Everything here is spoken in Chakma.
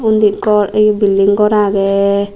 undi gor eh building gor agey.